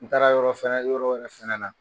N taara yɔrɔ fɛnɛ yɔrɔ wɛrɛ fɛnɛ na